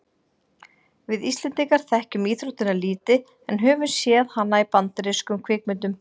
við íslendingar þekkjum íþróttina lítið en höfum séð hana í bandarískum kvikmyndum